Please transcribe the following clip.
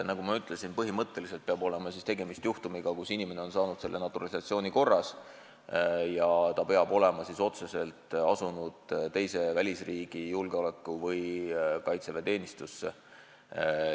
Nagu ma ütlesin, põhimõtteliselt peab olema tegemist juhtumiga, kus inimene on saanud kodanikuks naturalisatsiooni korras ja ta peab olema otseselt asunud välisriigi julgeoleku- või kaitseväeteenistusse.